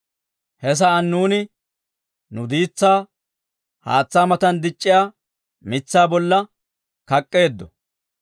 He sa'aan nuuni, nu diitsaa haatsaa matan dic'c'iyaa mitsaa bolla kak'k'eeddo.